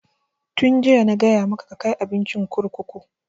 Tun jiya na gaya maka ka kai abincin kurkuku!